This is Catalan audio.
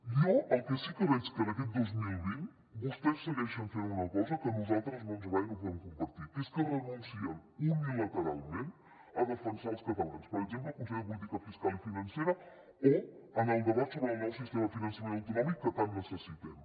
jo el que sí que veig que en aquest dos mil vint vostès segueixen fent una cosa que a nosaltres no ens agrada i no podem compartir que és que renuncien unilateralment a defensar els catalans per exemple al consell de política fiscal i financera o en el debat sobre el nou sistema de finançament autonòmic que tant necessitem